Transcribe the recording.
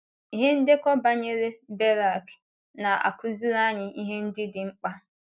Ihe ndekọ banyere Berak na - akụziri anyị ihe ndị dị mkpa.